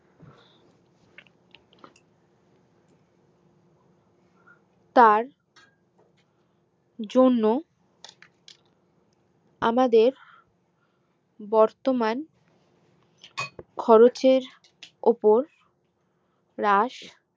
তার জন্য আমাদের বর্তমান খরচের ওপর রাশ